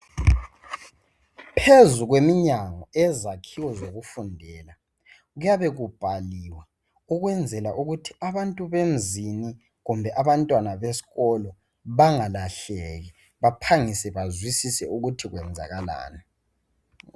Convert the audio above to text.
Phezu kweminyango yezakhiwo zokufundela kuyabe kubhaliwe ukwenzela ukuthi abantu bemzini kumbe abantwana besikolo bangalahleki baphangise bazwisise ukuthi kwenzakalani.